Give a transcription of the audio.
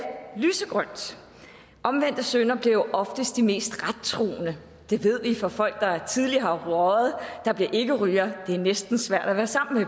lysegrønt omvendte syndere bliver jo oftest de mest rettroende det ved vi fra folk der tidligere har røget der bliver ikkerygere det er næsten svært at være sammen